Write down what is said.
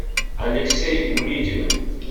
алексей улитин